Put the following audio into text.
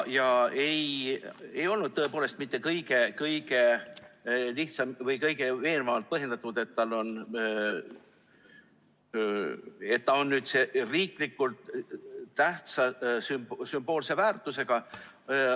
See ei olnud tõepoolest mitte kõige veenvamalt põhjendatud, et ta on riiklikult tähtsa sümboolse väärtusega.